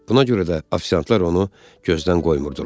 Buna görə də ofisiantlar onu gözdən qoymurdular.